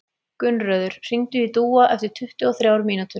Gunnröður, hringdu í Dúa eftir tuttugu og þrjár mínútur.